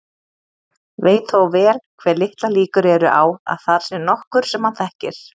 Veit þó vel hve litlar líkur eru á að þar sé nokkur sem hann þekkir.